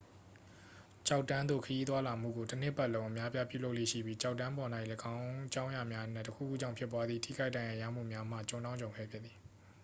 ကျောက်တန်းသို့ ခရီးသွားလာမှုကို တစ်နှစ်ပတ်လုံး အများအပြား ပြုလုပ်လေ့ရှိပြီး ကျောက်တန်းပေါ်၌ ယင်းအကြောင်းများအနက် တစ်ခုခုကြောင့်ဖြစ်ပွားသည့် ထိခိုက်ဒဏ်ရာရမှုများမှာ ကြုံတောင့်ကြုံခဲဖြစ်သည်